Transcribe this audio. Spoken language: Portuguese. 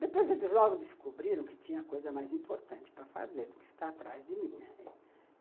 Depois eles logo descobriram que tinha coisa mais importante para fazer do que ficar atrás de mim, né?